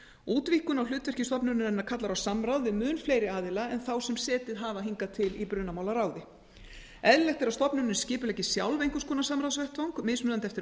útvíkkun á hlutverki stofnunarinnar kallar á samráð við mun fleiri aðila en þá sem setið hafa hingað til í brunamálaráði eðlilegt er að stofnunin skipuleggi sjálf einhvers konar samráðsvettvang mismunandi eftir